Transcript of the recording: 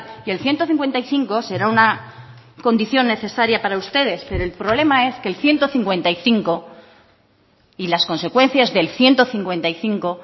y el ciento cincuenta y cinco será una condición necesaria para ustedes pero el problema es que el ciento cincuenta y cinco y las consecuencias del ciento cincuenta y cinco